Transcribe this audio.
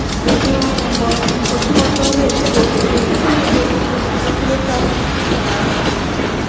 পশ্চিম বন~ অ্যাঁ বন~ পশ্চিম বর্ধমান এ এসে দে~ এসেছেন তো দেখবেন যে গেন্দা ফুলের চাস প্রচুর করা হয় এইখানে